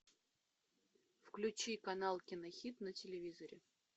включи канал кинохит на телевизоре